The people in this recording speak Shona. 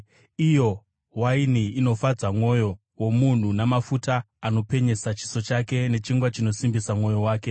iyo waini inofadza mwoyo womunhu, namafuta anopenyesa chiso chake, nechingwa chinosimbisa mwoyo wake.